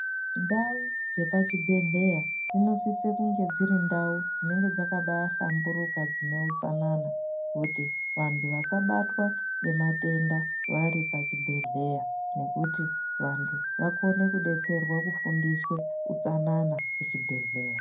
Ndau dzepachibhedhleya dzinosiso kunge dziri ndau dzinenge dzakabahlamburuka dzine utsanana kuti vantu vasabatwa ngematenda vari pachibhedhleya nokuti vantu vakone kudetserwa kufundiswe utsanana kuchibhedhleya.